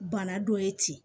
Bana dɔ ye ten